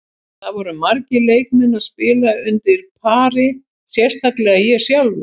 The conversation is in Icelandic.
Það voru margir leikmenn að spila undir pari, sérstaklega ég sjálfur.